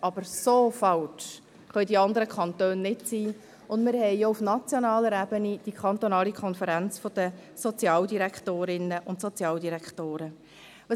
Doch so falsch können die anderen Kantone nicht liegen, und wir haben auch auf nationaler Ebene die kantonale Konferenz der Sozialdirektorinnen und Sozialdirektoren (SODK).